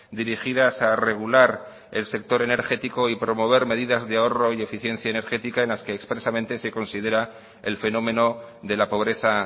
dirigidas a regular el sector energético y promover medidas de ahorro y eficiencia energética en las que expresamente se considera el fenómeno de la pobreza